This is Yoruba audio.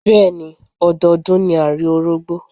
Bẹ́ẹ̀ni, ọdọọdún ni à rí Orógbó.